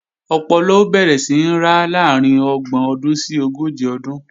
Ọpọlọ ó bẹ̀rẹ̀ sí ń ra láàrín ọgbọ̀n ọdún sí ogójì ọdún